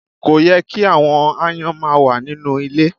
Kò yẹ ki àwọn aáyán ma wà nínú ilẹ